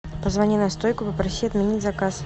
позвони на стойку попроси отменить заказ